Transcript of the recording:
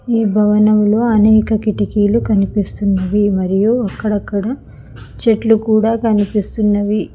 ఈ భవనంలో అనేక కిటికీలు కనిపిస్తున్నవి మరియు అక్కడక్కడ చెట్లు కూడా కనిపిస్తున్నవి.